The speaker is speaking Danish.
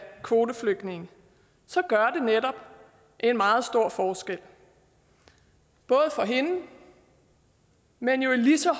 kvoteflygtningene så gør det netop en meget stor forskel både for hende men jo i lige så